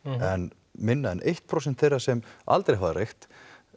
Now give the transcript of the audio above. en minna en eitt prósent þeirra sem aldrei hafa reykt